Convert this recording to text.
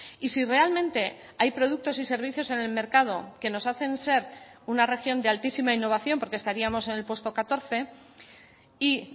y si realmente hay productos y servicios en el mercado que nos hacen ser una región de altísima innovación porque estaríamos en el puesto catorce y